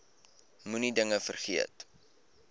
moenie dinge vergeet